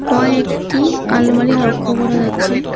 কয়েকটি আলমারি লক্ষ করা যাচ্ছে।